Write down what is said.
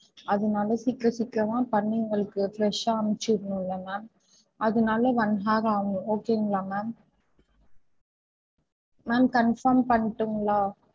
அதுனால சீக்கிரம் சீக்கிரமா பண்ணி உங்களுக்கு fresh ஆஹ் அனுப்புச்சு விடனும்ல ma'am அதுனால one hour ஆகும் okay ங்களா ma'am ma'am confirm பண்ணட்டுங்களா?